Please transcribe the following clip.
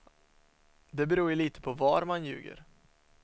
Det beror ju lite på var man ljuger.